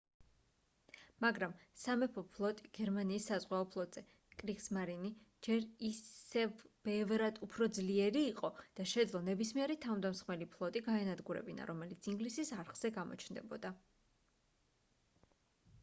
მაგრამ სამეფო ფლოტი გერმანიის საზღვაო ფლოტზე კრიგსმარინი ჯერ ისევ ბევრად უფრო ძლიერი იყო და შეეძლო ნებისმიერი თავდამსხმელი ფლოტი გაენადგურებინა რომელიც ინგლისის არხზე გამოჩნდებოდა